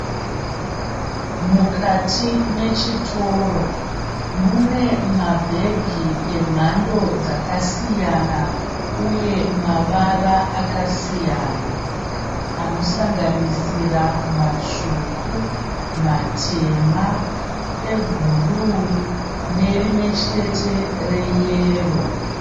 Mukati mechitoro mune mabhegi emhando dzakasiyana uye mavara akasiyana. Anosanganisira matsvuku, matema, ebhuruwu nerimwechete reyero.